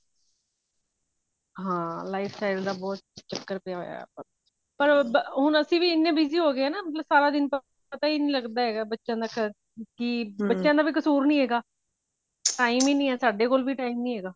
ਹਾਂ life style ਦਾ ਬਹੁਤ ਚੱਕਰ ਪਿਆ ਹੋਇਆ ਪਰ ਅਸੀਂ ਵੀ ਹੁਣ ਇੰਨੇ busy ਹੋ ਗਏ ਹਾਂ ਮਤਲਬ ਸਾਰਾ ਦਿਨ ਤਾਂ ਪਤਾ ਹੀ ਨਹੀਂ ਲਗਦਾ ਹੈਗਾ ਬੱਚਿਆ ਦਾ ਕਿ ਬੱਚਿਆ ਦਾ ਵੀ ਕਸੂਰ ਨਹੀਂ ਹੈਗਾ time ਹੀ ਨਹੀਂ ਸਾਡੇ ਕੋਲ ਵੀ time ਹੀ ਨਹੀਂ ਹੈਗਾ